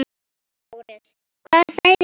LÁRUS: Hvað sagði hún?